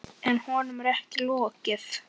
En honum er ekki lokið.